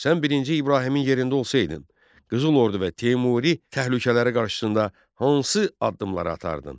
Sən birinci İbrahimin yerində olsaydın Qızıl Ordu və Teymuri təhlükələri qarşısında hansı addımları atardın?